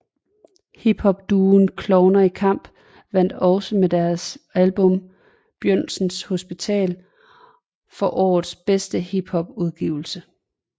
Hiphopduoen Klovner i Kamp vandt også med deres album Bjølsen hospital for årets bedste hiphopudgivelse